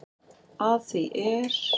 Að því er